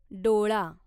डोळा